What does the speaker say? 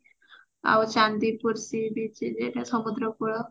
ଆଉ Chandipur sea beach ଯୋଉଟା ସମୁଦ୍ର କୁଳ